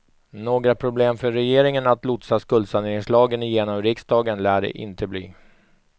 Några problem för regeringen att lotsa skuldsaneringslagen genom riksdagen lär det inte bli.